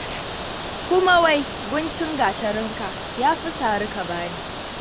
Kuma wai guntun gatarinka, ya fi sari ka ba ni.